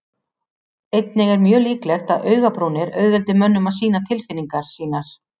Einnig er mjög líklegt að augabrúnir auðveldi mönnum að sýna tilfinningar sínar.